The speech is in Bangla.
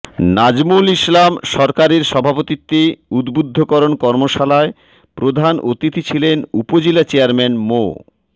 নাজমুল ইসলাম সরকারের সভাপতিত্বে উদ্বুদ্ধকরণ কর্মশালায় প্রধান অতিথি ছিলেন উপজেলা চেয়ারম্যান মো